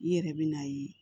I yɛrɛ bɛ n'a ye